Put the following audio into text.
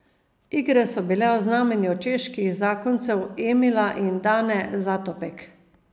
Igre pa so bile v znamenju čeških zakoncev Emila in Dane Zatopek.